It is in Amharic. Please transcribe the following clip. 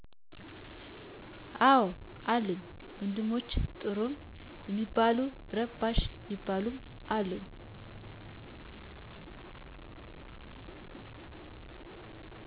አዎ አሉኝ፣ ወንድሞቸ ጥሩም ሚባሉ ረባሽ ሚባሉም አሉ።